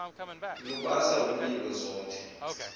lubasa umlilo zothe